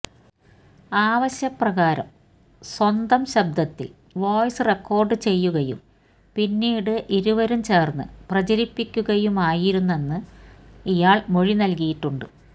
ആവശ്യപ്രകാരം സ്വന്തം ശബ്ദത്തില് വോയ്സ് റെക്കോര്ഡ് ചെയ്യുകയും പിന്നീട് ഇരുവരും ചേര്ന്ന് പ്രചരിപ്പിക്കുകയുമായിരുന്നെന്ന് ഇയാള് മൊഴി നല്കിയിട്ടുണ്ട്